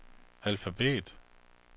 alfabet